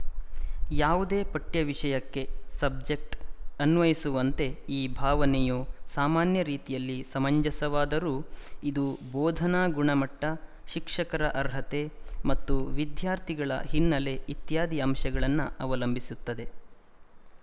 ಯಾವುದೇಪಠ್ಯವಿಶಯಕ್ಕೆ subject ಅನ್ವಯಿಸುವಂತೆ ಈ ಭಾವನೆಯು ಸಾಮಾನ್ಯ ರೀತಿಯಲ್ಲಿ ಸಮಂಜಸವಾದರೂ ಇದು ಬೋಧನಾ ಗುಣಮಟ್ಟ ಶಿಕ್ಷಕರ ಅರ್ಹತೆ ಮತ್ತು ವಿದ್ಯಾರ್ಥಿಗಳ ಹಿನ್ನೆಲೆ ಇತ್ಯಾದಿ ಅಂಶಗಳನ್ನು ಅವಲಂಬಿಸುತ್ತದೆ